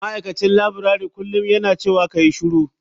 Ma'aikacin laburare kullum yana cewa kayi shiru.